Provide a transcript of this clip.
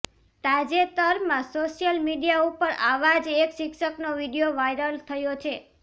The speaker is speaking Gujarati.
તાજેતરમાં સોશિયલ મીડિયા ઉપર આવા જ એક શિક્ષકનો વીડિયો વાયરલ થયો છે